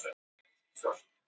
Sum þeirra heimsótti ég síðar.